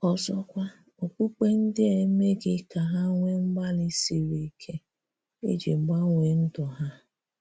Ọ̀zọ̀kwa, okpukpe ndị́ a emeghị̀ ka ha nwee mkpàlì siri ike iji gbanweè ndụ́ ha.